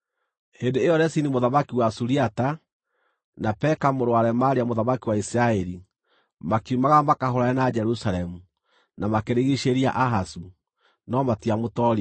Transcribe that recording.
Hĩndĩ ĩyo Rezini mũthamaki wa Suriata, na Peka mũrũ wa Remalia mũthamaki wa Isiraeli, makiumagara makahũũrane na Jerusalemu, na makĩrigiicĩria Ahazu, no matiamũtooririe.